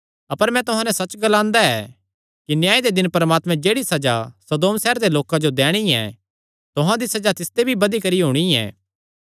अपर मैं तुहां नैं सच्च ग्लांदा ऐ कि न्याय दे दिन परमात्मैं जेह्ड़ी सज़ा सदोम सैहरे दे लोकां जो दैणी ऐ तुहां दी सज़ा तिसते भी बधी करी होणी ऐ